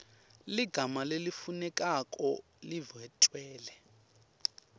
ligama lelifunekako lidvwetjelwe